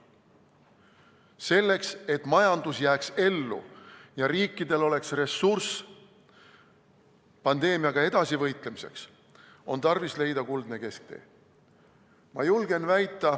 Selleks, et majandus jääks ellu ja riikidel oleks ressurss pandeemiaga edasi võitlemiseks, on tarvis leida kuldne kesktee.